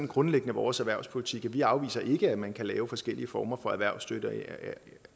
grundlæggende vores erhvervspolitik vi afviser ikke at man kan lave forskellige former for erhvervsstøtte